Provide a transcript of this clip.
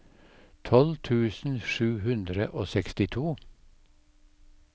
tolv tusen sju hundre og sekstito